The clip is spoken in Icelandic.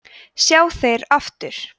sjá þeir aftur